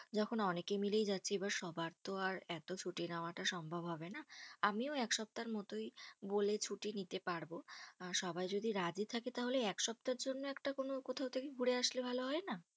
যখন অনেকে মিলেই যাচ্ছি, এবার সবার তো আর এত ছুটি নেওয়াটা সম্ভব হবে না। আমিও এক সপ্তাহের মতোই বলে ছুটি নিতে পারবো। আর সবাই যদি রাজি থাকে তাহলে এক সপ্তাহের জন্য একটা কোনো কোথাও থেকে ঘুরে আসলে ভালো হয়না?